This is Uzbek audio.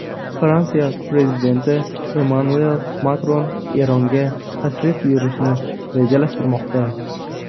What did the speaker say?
Fransiya prezidenti Emmanuel Makron Eronga tashrif buyurishni rejalashtirmoqda.